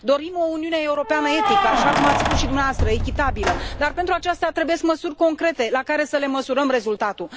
Dorim o Uniune Europeană etică, așa cum ați spus și dumneavoastră, echitabilă, dar pentru aceasta trebuie măsuri concrete, la care să le măsurăm rezultatul.